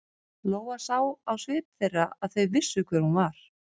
Lóa sá á svip þeirra að þau vissu hver hún var.